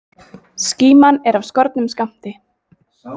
Skíman er af skornum skammti.